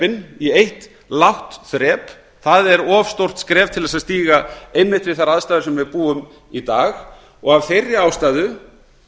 virðisaukaskattsþrepin í eitt lágt þrep það er of stórt skref til að stíga einmitt við þær aðstæður sem við búum við í dag og af þeirri ástæðu